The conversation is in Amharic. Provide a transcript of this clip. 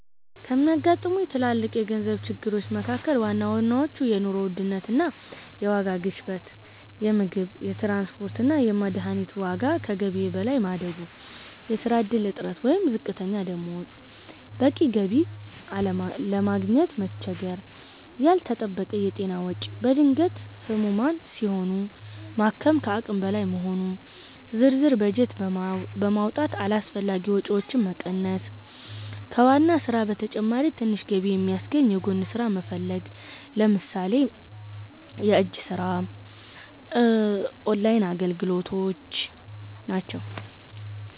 ከሚያጋጥሙኝ ትልልቅ የገንዘብ ችግሮች መካ�ከል ዋናዎቹ፦ የኑሮ ውድነት እና የዋጋ ግሽበት - የምግብ፣ የትራንስፖርት እና የመድኃኒት ዋጋ ከገቢዬ በላይ ማደጉ። የሥራ ዕድል እጥረት ወይም ዝቅተኛ ደሞዝ - በቂ ገቢ ለማግኘት መቸገር። ያልተጠበቀ የጤና ወጪ - በድንገት ህሙማን ሲሆኑ ማከም ከአቅም በላይ መሆኑ። ዝርዝር በጀት በማውጣት አላስፈላጊ ወጪዎችን መቀነስ። ከዋና ሥራ በተጨማሪ ትንሽ ገቢ የሚያስገኝ የጎን ሥራ መፈለግ (ለምሳሌ የእጅ ሥራ፣ ኦንላይን አገልግሎት)።